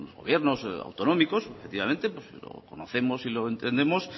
gobiernos autonómicos efectivamente pues lo conocemos y lo entendemos